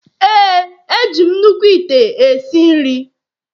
Ee, eji m nnukwu ite esi nri.